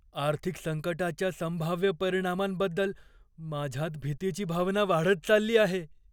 आर्थिक संकटाच्या संभाव्य परिणामांबद्दल माझ्यात भीतीची भावना वाढत चालली आहे.